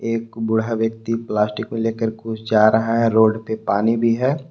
एक बूढ़ा व्यक्ति प्लास्टिक को लेकर कुछ जा रहा है रोड पे पानी भी है।